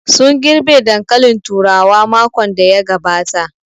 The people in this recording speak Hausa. Sun girɓe dankalin turawa makon da ya gabata